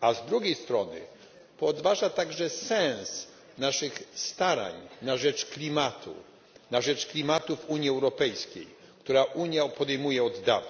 a z drugiej strony podważa także sens naszych starań na rzecz klimatu, na rzecz klimatu w Unii Europejskiej, które Unia podejmuje od dawna.